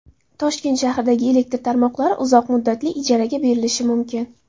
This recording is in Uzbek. Toshkent shahridagi elektr tarmoqlari uzoq muddatli ijaraga berilishi mumkin.